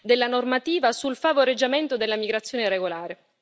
della normativa sul favoreggiamento della migrazione irregolare.